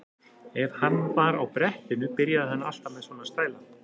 Ef hann var á brettinu byrjaði hann alltaf með svona stæla.